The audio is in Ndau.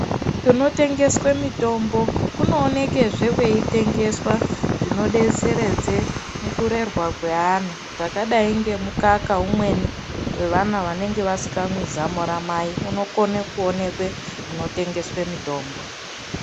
Kunotengeswe mitombo kunooneke kweitengeswa zvinodeteredze mukurerwa kweana zvakadai ngemukaka umweni wevana vanenge vasingamwi zamo ramai unokone kuonekwe munotengeswe mitombo.